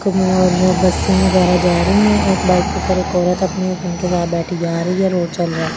कमु और बसे वगेरा जा रही है एक बाइक पे एक औरत अपने हस्बैंड के साथ बैठे जा रही है रोड चल रहा है ।